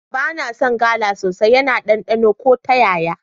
Ba na son gala sosai, yana ɗanɗano ko ta yaya.